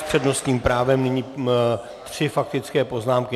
S přednostním právem nyní tři faktické poznámky.